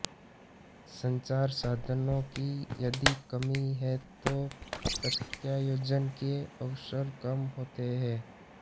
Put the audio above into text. संचारसाधनों की यदि कमी है तो प्रत्यायोजन के अवसर कम होते हैं